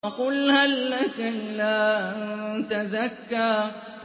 فَقُلْ هَل لَّكَ إِلَىٰ أَن تَزَكَّىٰ